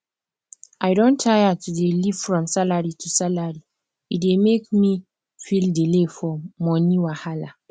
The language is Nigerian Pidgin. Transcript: i don tire to dey live from salary to salary e dey make me feel delay for money wahala